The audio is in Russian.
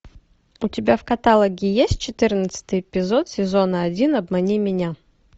у тебя в каталоге есть четырнадцатый эпизод сезона один обмани меня